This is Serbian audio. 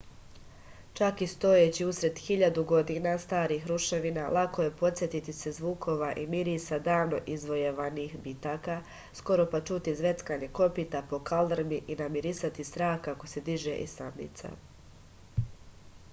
čak i stojeći usred hiljadu godina starih ruševina lako je podsetiti se zvukova i mirisa davno izvojevanih bitaka skoro pa čuti zveckanje kopita po kaldrmi i namirisati strah kako se diže iz tamnica